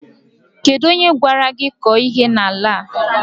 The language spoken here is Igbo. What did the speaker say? Kedụ onye gwara gị kọọ ihe n'ala a?